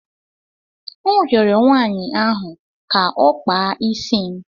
M rịọrọ nwaanyị ahụ ka ọ kpaa isi m.